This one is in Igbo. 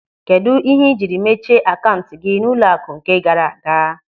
Kedụ ihe ị jiri mechie akaụntụ gị n'ụlọaku nke gaara aga?